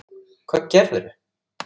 Hvað gerðir þú?